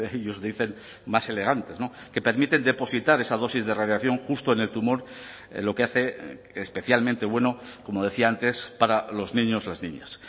ellos dicen más elegantes que permiten depositar esa dosis de radiación justo en el tumor lo que hace especialmente bueno como decía antes para los niños las niñas